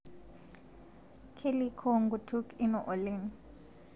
Kelikoo nkutuk ino oleng